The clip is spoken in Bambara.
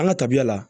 An ka tabiya la